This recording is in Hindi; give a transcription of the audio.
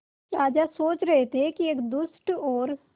राजा सोच रहे थे कि एक दुष्ट और